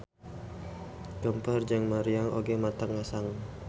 Geumpeur jeung muriang oge matak ngesang.